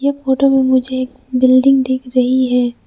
Photo में मुझे एक बिल्डिंग दिख रही है।